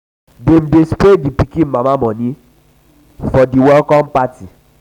dem dey spray di pikin mama moni for mama moni for di welcome party.